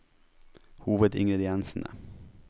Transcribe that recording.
hovedingrediensene